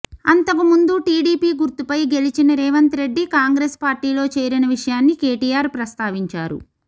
అంతకుముందు టీడీపీ గుర్తుపై గెలిచిన రేవంత్ రెడ్డి కాంగ్రెస్ పార్టీలో చేరిన విషయాన్ని కేటీఆర్ ప్రస్తావించారు